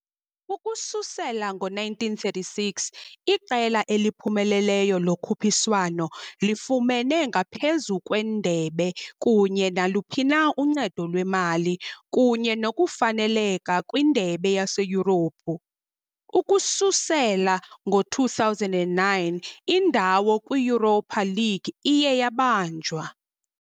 Ukususela ngo-1936, iqela eliphumeleleyo lokhuphiswano lifumene, ngaphezu kwendebe kunye naluphi na uncedo lwemali, kunye nokufaneleka kwindebe yaseYurophu, ukusukela ngo-2009, indawo kwi -Europa League iye yabanjwa.